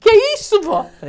Que isso, vó?